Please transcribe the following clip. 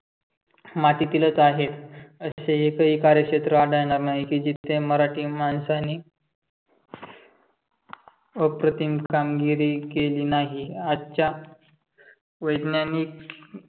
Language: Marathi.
मातीतीलच आहेत. असे एकही कार्यक्षेत्र आढळणार नाही की जिथे मराठी माणसांनी अप्रतिम कामगिरी केली नाही. आजच्या वैज्ञानिक